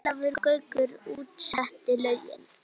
Ólafur Gaukur útsetti lögin.